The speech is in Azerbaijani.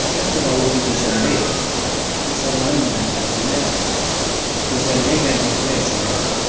Bəlkə də Allah bu gecələri insanların məhəbbətinə, gözəlliyə qərq etmək üçün yaradıb.